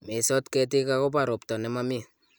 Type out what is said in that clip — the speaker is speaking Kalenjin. meisot ketik akobo robta ne momi